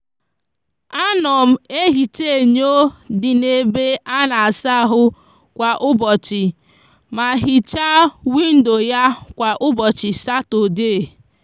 a no m ehicha enyo di n'ebe a n'asa ahu kwa ubochi ma hicha windo ya kwa ubochi satode.